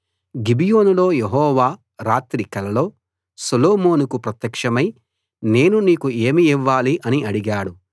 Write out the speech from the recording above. గిబియోనులో యెహోవా రాత్రి కలలో సొలొమోనుకు ప్రత్యక్షమై నేను నీకు ఏమి ఇవ్వాలి అని అడిగాడు